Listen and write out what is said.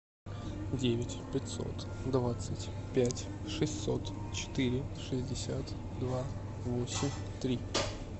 девять пятьсот двадцать пять шестьсот четыре шестьдесят два восемь три